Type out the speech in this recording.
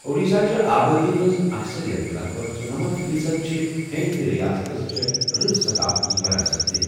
اوڈیشا چہِ آبادی ہنز اكثرِیت لگ بھگ ژُنمنتھ فی صد چھِ ہیندِ تہٕ رِیاستس چھے٘ رٕژ سقافتی وراست تہِ